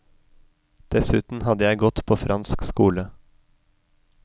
Dessuten hadde jeg gått på fransk skole.